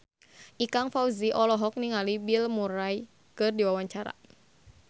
Ikang Fawzi olohok ningali Bill Murray keur diwawancara